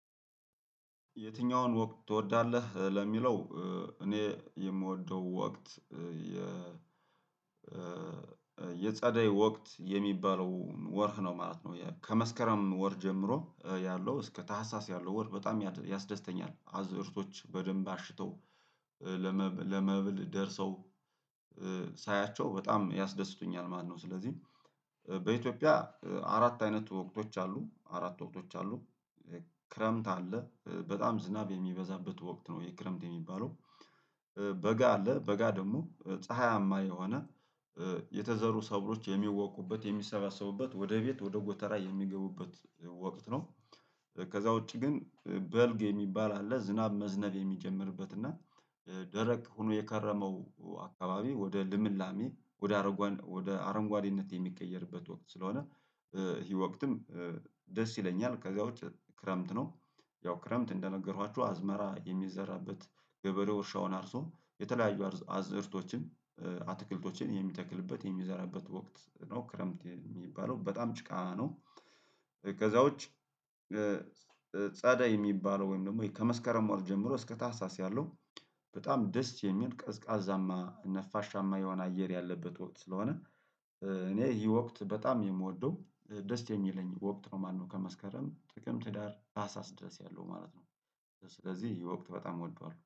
የትኛውን ወቅት ትወዳለህ ለሚለው? እኔ የምወደው ወቅት የ የጸደይ ወቅት የሚባለው ወርህ ነው ማለት ነው ከመስከረም ወር ጀምሮ ያለው እስከ ታህሳስ ያለው ወር በጣም ያስደስተኛል አዝርቶች በደንብ አሽተው ለመብል ደርሰው ሳያቸው በጣም ያስደስቱኛል ማለትነው። ስለዚህ በኢትዮጵያ አራት አይነት ወቅቶች አሉ አራት ወቅቶች አሉ ክረምት አለ በጣም ዝናብ የሚበዛበት ወቅት ነው። የክረምት የሚባለው በጋ አለ በጋ ደግሞ ፀሀያማ የሆነ የተዘሩ ሰብሎች የሚወቁበት የሚሰባሰቡበት ወደ ቤት ወደ ጎተራ የሚገቡበት ወቅት ነው። ከዛ ውጪ ግን በልግ የሚባል አለ ዝናብ መዝነብ የሚጀምርበት እና ደረቅ ሆኖ የከረመው አካባቢ ወደ ልምላሜ ወደ አረንጓዴነት የሚቀየርበት ወቅት ስለሆነ ይሄ ወቅትም ደስ ይለኛል። ከዛ ውጪ ክረምት ነው። ያው ክረምት እንደነገሯችሁ አዝመራ የሚዘራበት ገበሬው እርሻውን አርሶ የተለያዩ አዝርቶችን አትክልቶችን የሚተክልበት የሚዘራበት ወቅት ነው ክረምት የሚባለው በጣም ጭቃ ነው። ከዛውጭ ጸዳይ የሚባለው ወይም ደግሞ ከመስከረም ወር ጀምሮ እስከ ታህሳስ ያለው በጣም ደስ የሚል ቀዝቃዛማ ነፋሻማ የሆነ አየር ያለበት ወቅት ስለሆነ። እኔ ይሄ ወቅት በጣም የምወደው ደስ የሚለኝ ወቅት ነው ማለት ነው ከመስከረም ጥቅም ህዳር ታህሳስ ድረስ ያለው ማለት ነው። ስለዚህ ይህ ወቅት በጣም እወደዋልው